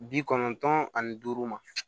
Bi kɔnɔntɔn ani duuru ma